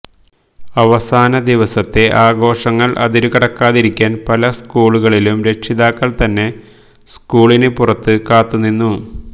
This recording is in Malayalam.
അവസാന ദിവസത്തെ ആഘോഷങ്ങൾ അതിരുകടക്കാതിരിക്കാൻ പല സ്കൂളുകളിലും രക്ഷിതാക്കൾ തന്നെ സ്കൂളിന് പുറത്ത് കാത്തുനിന്നു